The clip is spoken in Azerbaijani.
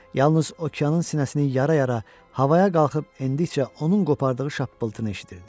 Yalnız okeanın sinəsinin yara-yara havaya qalxıb endikcə onun qopardığı şappıltını eşidirdi.